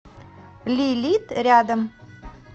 лилит рядом